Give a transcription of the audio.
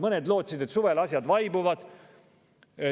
Mõned lootsid, et suvel asjad vaibuvad.